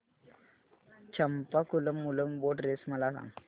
Champakulam Moolam boat race मला सांग